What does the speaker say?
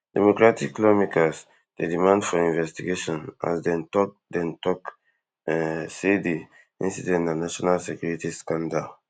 democratic lawmakers dey demand for investigation as dem tok dem tok um say di incident na national security scandal